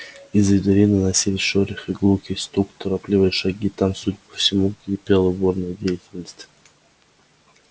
из-за двери доносились шорох и гулкий стук торопливые шаги там судя по всему кипела бурная деятельность